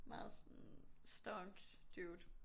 Meget sådan stonks dude